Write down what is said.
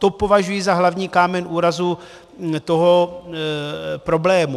To považuji za hlavní kámen úrazu toho problému.